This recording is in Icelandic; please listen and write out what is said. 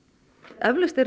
eflaust eru